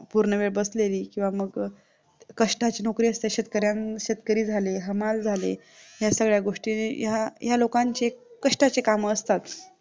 पूर्णवेळ बसलेली किंवा मग कष्टाची नोकरी असते शेतकरी झाले हमाल झाले या सगळ्या गोष्टी या लोकांची कष्टाची काम असतात